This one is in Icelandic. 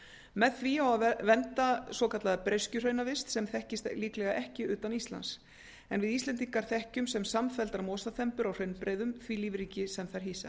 með því á að vernda svokallaða breiskjuhraunavist sem þekkist líklega ekki utan íslands en við íslendingar þekkjum sem samfelldar mosaþembur á hraunbreiðum því lífríki sem þær hýsa